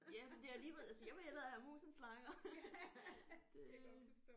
Ja men det er lige ved altså jeg vil hellere have mus end slanger det